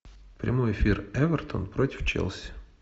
прямой эфир эвертон против челси